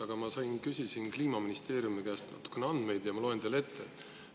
Aga ma küsisin ja sain Kliimaministeeriumi käest natukene andmeid ja ma loen need teile ette.